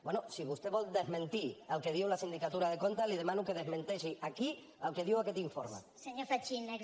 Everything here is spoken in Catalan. bé si vostè vol desmentir el que diu la sindicatura de comptes li demano que desmenteixi aquí el que diu aquest informe